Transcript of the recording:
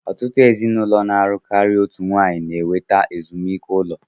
Ọtụtụ ezinụlọ na-alụ karịa otu nwanyị na-enweta ezumike ụlọ